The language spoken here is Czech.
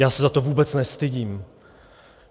Já se za to vůbec nestydím.